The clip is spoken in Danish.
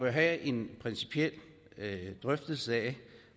have en principiel drøftelse af